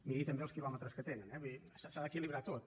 miri també els quilòmetres que tenen eh vull dir s’ha d’equilibrar tot